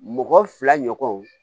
Mɔgɔ fila ɲɔgɔnw